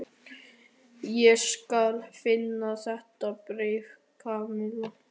Ég skal finna þetta bréf, Kamilla.